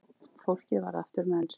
Fólkið varð aftur mennskt.